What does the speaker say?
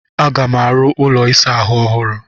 Aga m arụ ụlọ ịsa ahụ ọhụrụ